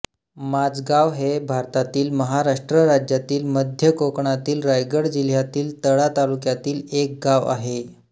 माजगांव हे भारतातील महाराष्ट्र राज्यातील मध्य कोकणातील रायगड जिल्ह्यातील तळा तालुक्यातील एक गाव आहे